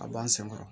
A b'an sen kɔrɔ